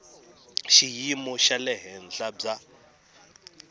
xiyimo xa le henhla bya